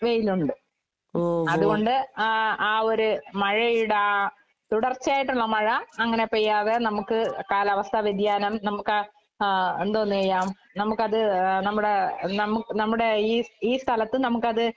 വെയിലൊണ്ട്. അതുകൊണ്ട് ആഹ് ആ ഒരു മഴയുടെ ആ തുടർച്ചയായിട്ടുള്ള മഴ അങ്ങനെ പെയ്യാതെ നമുക്ക് കാലാവസ്ഥാ വ്യതിയാനം നമുക്കാ ആഹ് എന്തോന്ന് ചെയ്യാം നമുക്കത് ഏഹ് നമ്മുടെ നമ് നമ്മുടെ ഈ ഈ സ്ഥലത്ത് നമുക്കത്